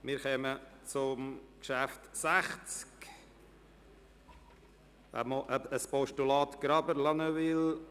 Wir kommen zum Traktandum 60, dem Postulat Graber, La Neuveville: